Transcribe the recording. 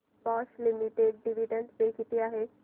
Bosch limited dividend pay किती आहे